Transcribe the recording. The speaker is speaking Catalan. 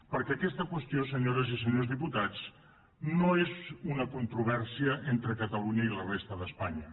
perquè aquesta qüestió senyores i senyors diputats no és una controvèrsia entre catalunya i la resta d’espanya